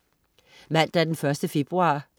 Mandag den 1. februar